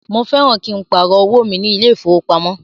Mo fẹ́ran kí n pàrọ̀ owó mi ní ilé ìfowópamọ́